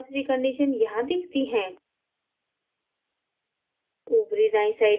प्रारंभिक velocity condition यहाँ दिखती है